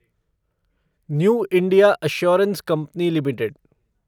new India assurance company limited